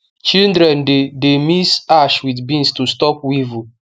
children dey dey mix ash with beans to stop weevil